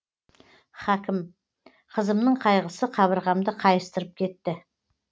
хәкім қызымның қайғысы қабырғамды қайыстырып кетті